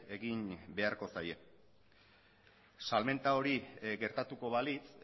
egin beharko zaie salmenta hori gertatuko balitz